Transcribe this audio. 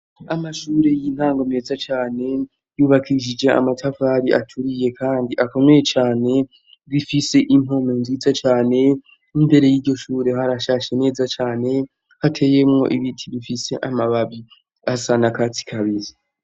Amashure y'intango meza cane yubakishije amatavari aturiye, kandi akomeye cane goifise impome nziza cane imbere y'iryo shure harashashe neza cane hateyemwo ibiti bifise amababi asana katsi kabizi.